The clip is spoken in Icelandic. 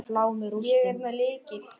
Ég er með lykil.